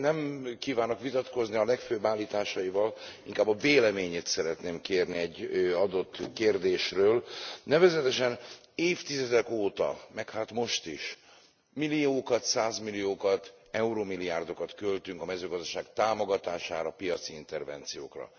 Nem kívánok vitatkozni a legfőbb állításaival, inkább a véleményét szeretném kérni egy adott kérdésről, nevezetesen, évtizedek óta, meg hát most is, milliókat, százmilliókat, eurómilliárdokat költünk a mezőgazdaság támogatására, piaci intervenciókra.